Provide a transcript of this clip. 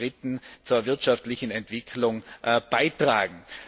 Und zum Dritten zur wirtschaftlichen Entwicklung beizutragen.